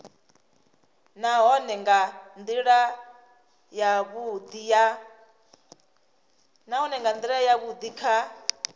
nahone nga ndila yavhudi kha